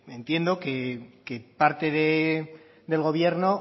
entiendo que parte del gobierno